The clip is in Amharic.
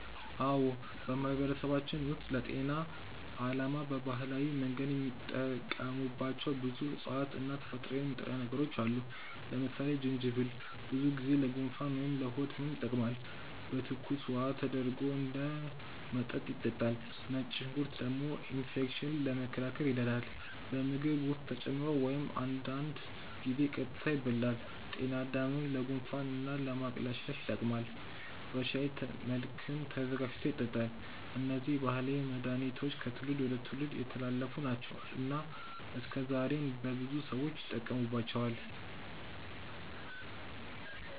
አዎ፣ በማህበረሰባችን ውስጥ ለጤና ዓላማ በባህላዊ መንገድ የሚጠቀሙባቸው ብዙ እፅዋት እና ተፈጥሯዊ ንጥረ ነገሮች አሉ። ለምሳሌ ጅንጅብል ብዙ ጊዜ ለጉንፋን ወይም ለሆድ ህመም ይጠቀማል፤ በትኩስ ውሃ ተደርጎ እንደ መጠጥ ይጠጣል። ነጭ ሽንኩርት ደግሞ ኢንፌክሽንን ለመከላከል ይረዳል፣ በምግብ ውስጥ ተጨምሮ ወይም አንዳንድ ጊዜ ቀጥታ ይበላል። ጤናድምም ለጉንፋን እና ለማቅለሽለሽ ይጠቀማል፤ በሻይ መልክም ተዘጋጅቶ ይጠጣል። እነዚህ ባህላዊ መድሃኒቶች ከትውልድ ወደ ትውልድ የተላለፉ ናቸው እና እስከዛሬም በብዙ ሰዎች ይጠቀሙባቸዋል።